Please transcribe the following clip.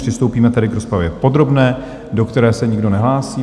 Přistoupíme tedy k rozpravě podrobné, do které se nikdo nehlásí.